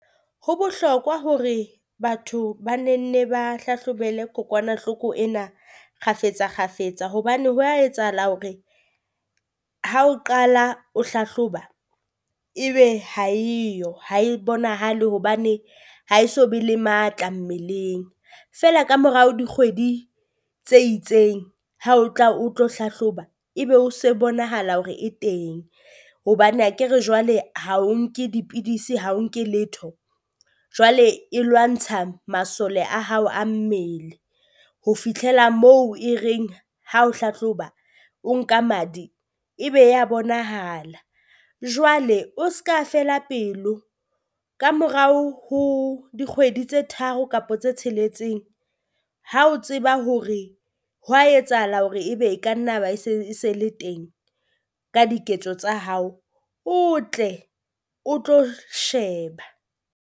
Ho bohlokwa hore batho ba ne nne ba hlahlobele kokwanahloko ena kgafetsa kgafetsa, hobane hwa etsahala hore ha o qala o hlahloba ebe ha eyo ha e bonahale hobane ha e so be le matla mmeleng. Feela ka morao dikgwedi tse itseng ha o tla o tlo hlahloba, e be o se bonahala hore e teng, hobane akere jwale ha o nke dipidisi ha o nke letho Jwale e lwantsha masole a hao a mmele. Ho fitlhela moo e reng ha o hlahloba o nka madi, ebe ya bonahala, jwale o ska feela pelo ka morao ho dikgwedi tse tharo kapo tse tsheletseng. Ha o tseba hore hwa etsahala hore ebe e ka nna ya ba e se e se le teng ka diketso tsa hao, o tle o tlo sheba.